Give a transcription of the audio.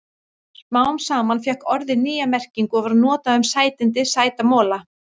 Smám saman fékk orðið nýja merkingu og var notað um sætindi, sæta mola.